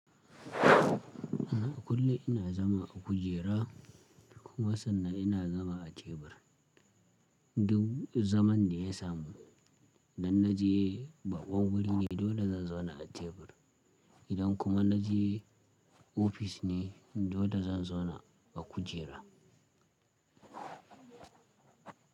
A kullum ina zama a kujera kuma sannan ina zama a tebur. Duk zaman da ya samu, idan na je ɓaƙon guri ne dole zan zauna a tebur, idan kuma na je ofifice ne dole zan zauna a kujera.